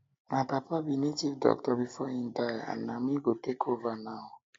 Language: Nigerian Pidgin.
my papa be native doctor before he die and na me go take over now um